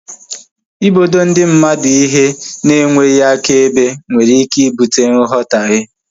Ịbodo ndi mmadụ ihe na enweghị akaebe nwere ike ibute nghotahie